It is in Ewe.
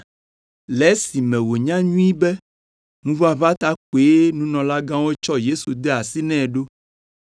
Le esime wònya nyuie be ŋuʋaʋã ta koe nunɔlagãwo tsɔ Yesu de asi nɛ ɖo.